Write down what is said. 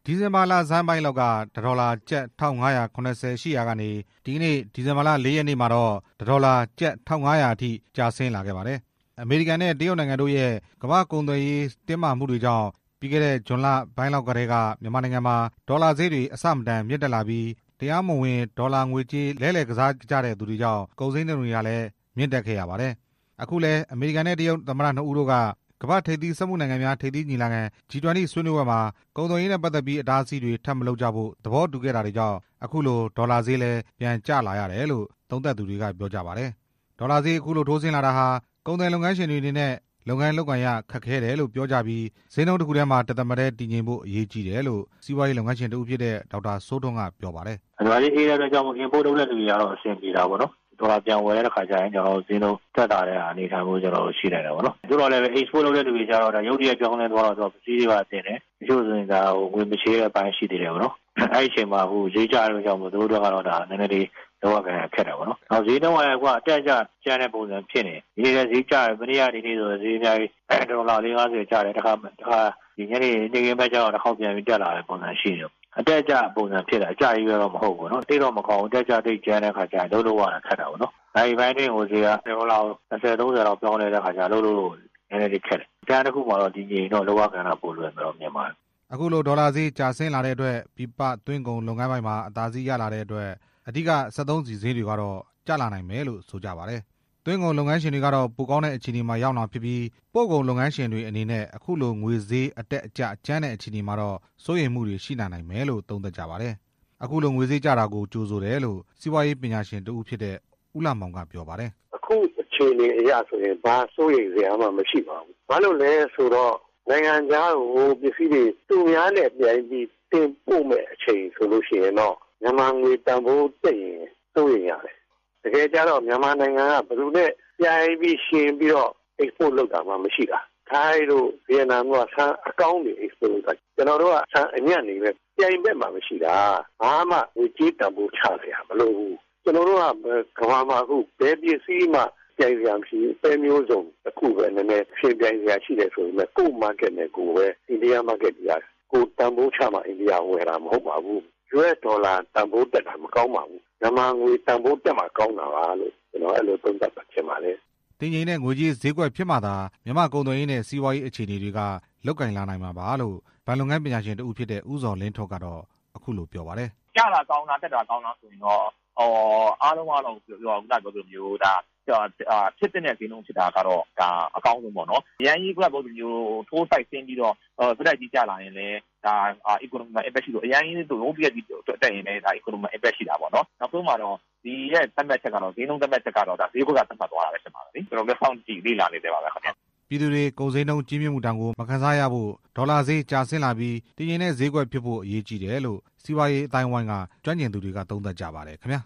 ဒီဇင်ဘာလဆန်းပိုင်းလောက်က တစ်ဒေါ်လာ ကျပ် ၁၅၇၀ ရှိရာကနေ ဒီကနေ့ ဒီဇင်ဘာလ ၄ ရက်နေ့ မှာတော့ တစ်ဒေါ်လာ ကျပ် ၁၅၀၀ အထိ ကျဆင်းလာခဲ့ပါတယ်။ အမေရိကန်နဲ့ တရုတ်နိုင်ငံတို့ရဲ့ ကုန်သွယ်ရေးစစ်ပွဲကြောင့် ပြီးခဲ့တဲ့ဇွန်လပိုင်းလောက်ကတည်းက မြန်မာနိုင်ငံမှာ ဒေါ်လာဈေးတွေ အဆမတန်မြင့်တက်လာပြီး တရားမဝင်ငွေကစားကြတဲ့သူတွေကြောင့် ကုန်ဈေးနှုန်းတွေလည်း တက်ခဲ့ရပါတယ်။ အခုလည်း အမေရိကန်နဲ့ တရုတ်သမ္မတနှစ်ဦးတို့က ကမ္ဘာ့ထိပ်သီးစက်မှုနိုင်ငံများ ထိပ်သီးညီလာခံ ဂျီ ၂၀ ဆွေးနွေးပွဲမှာ ကုန်သွယ်ရေးနဲ့ ပတ်သက်ပြီး အတားအဆီးတွေ ထပ်မလုပ်ကြဖို့ဆိုပြီး သဘောတူခဲ့တာကြောင့် အခုလိုဒေါ်လာဈေးဟာလည်း ပြန် ကျလာရတယ်လို့ ဆိုကြပါတယ်။ ဒေါ်လာဈေး အခုလိုထိုးဆင်းလာတာဟာ ကုန်သည်လုပ်ငန်းရှင်တွေအနေနဲ့ လုပ်ကိုင်ရခက်ခဲ့တယ်လို့ ပြောကြပြီး ဈေးတစ်ခုတည်းမှာ တစ်သမတ်တည်းဖြစ်ဖို့ အရေးကြီးတယ်လို့ စီးပွားရေးလုပ်ငန်းရှင် ဒေါက်တာစိုးထွန်းက ပြောပါတယ်။ ‘’ဒေါ်လာဈေး အေးတဲ့အတွက်ကြောင့် import လုပ်တဲ့သူတွေကတော့ အဆင်ပြေတာပေါ့နော်၊ ဒေါ်လာပြန် ဝယ်တဲ့အခါကျရင် ဈေးနှုန်းသက်သာတယ်၊ သို့သော်လည်း export လုပ်တဲ့သူတွေကတော့ ရုတ်တရက်ပြောင်းလဲ သွားလို့ တချို့ဆို ငွေမချေတဲ့အပိုင်းလည်းရှိသေးတာပေါ့နော်၊ အဲဒီအချိန်မှာသူတို့အတွက်ကျတော့ နဲနဲလေး လုပ်ရကိုင်ရတာ ခက်တာပေါ့နော်၊ ဈေးနှုန်းကလည်း အတက်အကျကြမ်းတဲ့ပုံစံဖြစ်နေတယ်၊ ဒီနေ့လည်းဈေး ကျတယ် မနေ့က တစ်ဒေါ်လာ ၄၊ ၅၀ ကျတယ်၊ ဒီညနေ နေ့ခင်းဖက်ကျတော့ တခေါက်ပြန်တက်လာတယ်၊ အတက်အကျဖြစ်နေတယ် အကျချည်းပဲတော့မဟုတ်ဘူး၊ နာရီပိုင်းအတွင်းကို တစ်ဒေါ်လာကို ၂၀ ၃၀ ပြောင်းလဲ လိုက်တော့ ခက်တယ်၊ တန်းတစ်ခုမှာတော့ တည်ငြိမ်ရင် ပိုလွယ်မယ်’’ အခုလိုဒေါ်လာဈေး ကျဆင်းလာတဲ့အတွက် ပြည်ပသွင်းကုန်လုပ်ငန်းပိုင်းမှာ အသားစီးရလာတဲ့အတွက် အဓိကစက်သုံးဆီဈေးတွေ ကျလာနိုင်မှာလို့ ဆိုကြပါတယ်။ သွင်းကုန်လုပ်ငန်းရှင်တွေကတော့ ပိုကောင်းတဲ့အခြေအနေမှာ ရောက်မှာဖြစ်ပြီး ပို့ကုန်လုပ်ငန်းရှင်တွေအနေနဲ့ အခုလိုငွေဈေး အတက်အကျကြမ်းတဲ့ အခြေအနေမှာတော့ စိုးရိမ်မှုတွေရှိလာနိုင်မှာလို့ သုံးသပ်ကြပါတယ်။ အခုလိုငွေဈေးကျတာကို ကြိုဆိုတယ်လို့ စီးပွားရေးပညာရှင်တစ်ဦးဖြစ်တဲ့ ဦးလှမောင်က ပြောပါတယ်။ ‘’အခုအခြေအနေအရဆိုရင် ဘာစိုးရိမ်စရာမှမရှိပါဘူး၊ ဘာလို့လဲဆိုတော့ နိုင်ငံခြားကို ပစ္စည်းတွေသူများနဲ့ ပြိုင်ပြီးတော့ တင်ပို့မယ့်အချိန်ဆိုရင်တော့ မြန်မာငွေတန်ဖိုးတက်ရင် စိုးရိမ်ရတယ်၊ တကယ်ကျတော့ မြန်မာနိုင်ငံ က ဘယ်သူနဲ့ပြိုင်ပြီးယှဉ်ပြီးတော့ ပို့တာမှမရှိတာ ထိုင်းတို့ ဗီယက်နမ်တို့က ဆန်အကောင်းတွေပို့တာ၊ ကျနော်တို့က ဆန်အညံ့တွေ့ပဲ၊ ပြိုင်ဖက်မှမရှိတာ ဘာမှငွေကြေးတန်ဖိုးချစရာမလိုဘူး၊ ကမ္ဘာမှာဘယ်ပစ္စည်းမှ ပဲမျိုးစုံပဲ အိန္ဒိယဈေးကွက်ပါပဲ US ဒေါ်လာ တန်ဖိုးတက်တာ မကောင်းပါဘူး၊ မြန်မာငွေတန်ဖိုးတက်မှ ကောင်းတာပါလို့’’ တည်ငြိမ်တဲ့ငွေးကြေးဈေးကွက်ဖြစ်မှသာ မြန်မာ့ကုန်သွယ်ရေးနဲ့ စီးပွားရေးအခြေအနေတွေက လုပ်ကိုင်လာနိုင်မှာပါလို့ ဘဏ်လုပ်ငန်းပညာရှင်တစ်ဦးဖြစ်တဲ့ ဦးဇော်လင်းထွန်းက ပြောပါတယ်။ ‘’ကျတာကောင်းလား တက်တာကောင်းလားဆိုရင်တော့ ဖြစ်သင့်တဲ့ဈေးနှုန်းဖြစ်တာတော့ အကောင်းဆုံးပေါ့နော် အရမ်းကြီးထိုးစိုက်ဆင်းပြီး ဆက်တိုက်ကြီးကျလာရင်လည်း economy မှာ impact ရှိတာပေါ့၊ သတ်မှတ်ချက် ကတော့ ဈေးကွက်က သတ်မှတ်သွားတာပါပဲ၊ စောင့်ကြည့်လေ့လာနေဆဲပါပဲခင်ဗျ’’ ပြည်သူတွေ ကုန်ဈေးနှုန်းကြီးမြင့်မှုဒဏ်ကို မခံစားနိုင်ဖို့ ဒေါ်လာဈေးကျဆင်းလာပြီး တည်ငြိမ်တဲ့ဈေးကွက်ဖြစ်ဖို့ အရေးကြီးတယ်လို့ စီးပွားရေးအသိုင်းအဝိုင်းက ကျွမ်းကျင်သူတွေက သုံးသပ်ကြပါတယ်ခင်ဗျာ